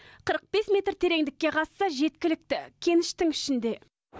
қырық бес метр тереңдікке қазса жеткілікті кеніштің ішінде